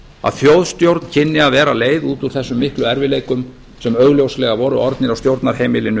að þjóðstjórn kynni að að vera leið út úr þessum miklu erfiðleikum sem augljóslega voru orðnir á stjórnarheimilinu